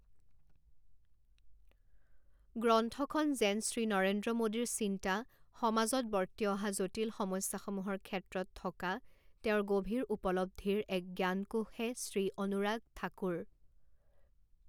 গ্ৰন্থখন যেন শ্ৰী নৰেন্দ্ৰ মোদীৰ চিন্তা, সমাজত বৰ্তি অহা জটিল সমস্যাসমূহৰ ক্ষেত্ৰত থকা তেওঁৰ গভীৰ উপলব্ধিৰ এক জ্ঞানকোষহে শ্ৰী অনুৰাগ ঠাকুৰ